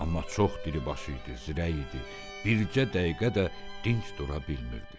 Amma çox diribaş idi, zirək idi, bircə dəqiqə də dinc dura bilmirdi.